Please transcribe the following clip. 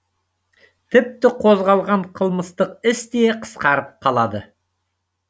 тіпті қозғалған қылмыстық іс те қысқарып қалады